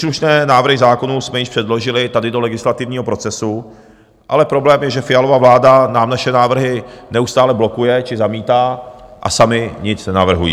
Příslušné návrhy zákonů jsme již předložili tady do legislativního procesu, ale problém je, že Fialova vláda nám naše návrhy neustále blokuje či zamítá a sami nic nenavrhují.